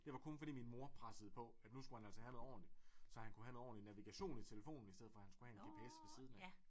Det var kun fordi min mor pressede på at nu skulle han altså have noget ordentligt så han kunne have en ordentlig navigation i telefonen i stedet for han skulle have en gps ved siden af